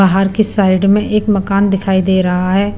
बाहर की साइड में एक मकान दिखाई दे रहा है।